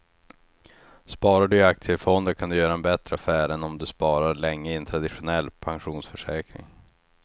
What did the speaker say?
Sparar du i aktiefonder kan du göra en bättre affär än om du sparar länge i en traditionell pensionsförsäkring.